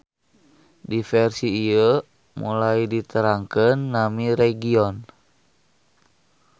Di versi ieu mulai diterangkeun nami region.